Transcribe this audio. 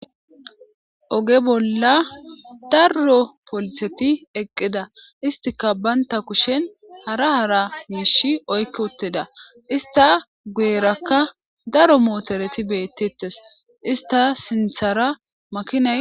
Oge bolla daro pooliseti eqida isstika Banta kushen Hara hara Misha Oyki uttida issta guyeraka daro motoreti betetes issta sinthara